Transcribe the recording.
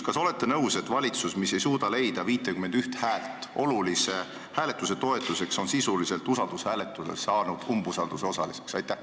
Kas te olete nõus, et valitsus, mis ei suuda leida 51 häält olulise hääletuse toetuseks, on sisuliselt usaldushääletusel saanud umbusalduse osaliseks?